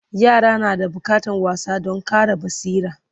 yara na da bukatan wasa Dan Ƙara basira